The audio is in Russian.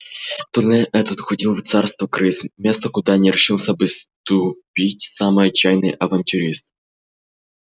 туннель этот уходил в царство крыс место куда не решился бы ступить самый отчаянный авантюрист